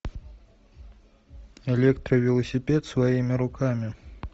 электровелосипед своими руками